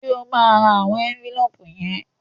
Ṣé o máa ra àwọn ẹ́ńfílóòpù yẹn?